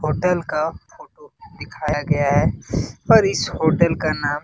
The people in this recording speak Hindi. होटल का दिखाया गया है और इस होटल का नाम --